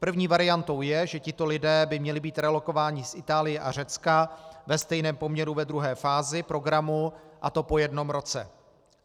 První variantou je, že tito lidé by měli být relokováni z Itálie a Řecka ve stejném poměru ve druhé fázi programu, a to po jednom roce.